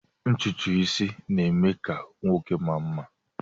Ntutu isi na-eme ka nwoke maa mma